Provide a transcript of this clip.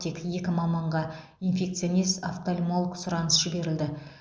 тек екі маманға инфекционист офтальмолог сұраныс жіберілді